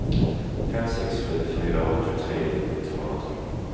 fem sex sju fyra åttiotre tvåhundratolv